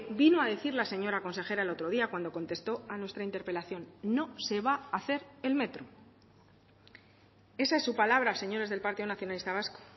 vino a decir la señora consejera el otro día cuando contesto a nuestra interpelación no se va a hacer el metro esa es su palabra señores del partido nacionalista vasco